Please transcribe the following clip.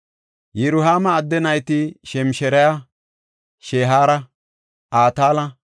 Yirohaama adde nayti Shemshiraya, Shehaara, Ataala,